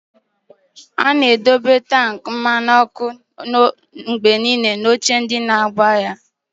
A na-edobe tankị mmanụ ọkụ mgbe niile na oche ndị na-agba ya.